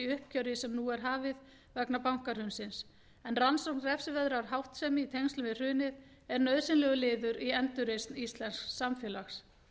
uppgjöri sem nú er hafið vegna bankahrunsins en rannsókn refsiverðrar háttsemi í tengslum við hrunið er nauðsynlegur liður í endurreisn íslensks samfélags